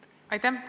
Aitäh!